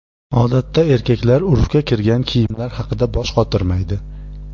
Odatda erkaklar urfga kirgan kiyimlar haqida bosh qotirmaydi.